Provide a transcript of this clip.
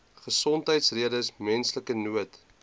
gesondheidsredes menslike nood